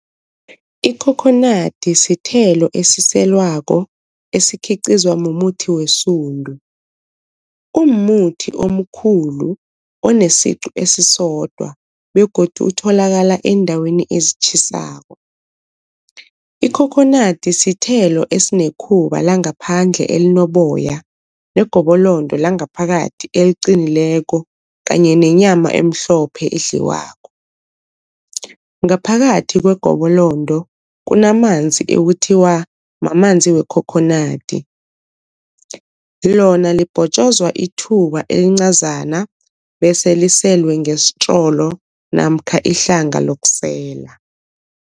Ikhokhonadi sithelo esiselwako esikhiqizwa mumuthi wesundu. Umumuthi omkhulu onesiqu esisodwa begodu utholakala eendaweni ezitjhisako. Ikhokhonadi sithelo esinekhuba langaphandle elinoboya negobolondo langaphakathi eliqinileko kanye nenyama emhlophe edliwako. Ngaphakathi kwegobolondo kunamanzi ekuthiwa mamanzi wekhokhonadi, lona libhotjozwa itjhuba elincazana bese liselwe ngesitrolo namkha ihlanga lokusela.